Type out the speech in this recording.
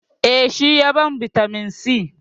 Eh, shi ya ban bitamin c.